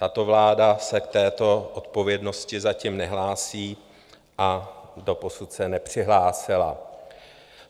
Tato vláda se k této odpovědnosti zatím nehlásí a doposud se nepřihlásila.